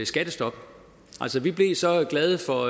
skattestop altså vi blev så glade for